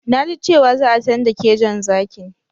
Na ji cewa za a canja kejon zakin.